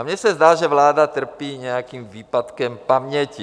A mně se zdá, že vláda trpí nějakým výpadkem paměti.